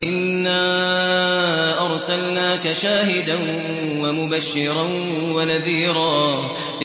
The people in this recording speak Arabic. إِنَّا أَرْسَلْنَاكَ شَاهِدًا وَمُبَشِّرًا وَنَذِيرًا